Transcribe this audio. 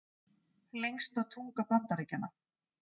Lengsta tunga Bandaríkjanna